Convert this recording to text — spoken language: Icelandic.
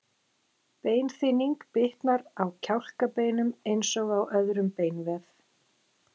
Beinþynning bitnar á kjálkabeinum eins og á öðrum beinvef.